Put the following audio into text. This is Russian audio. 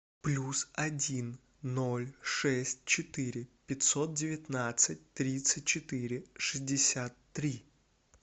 плюс один ноль шесть четыре пятьсот девятнадцать тридцать четыре шестьдесят три